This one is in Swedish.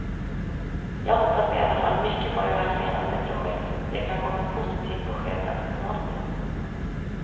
Jag hoppas i alla fall mycket på det här senaste projektet, det kan komma ett positivt besked ganska snart nu.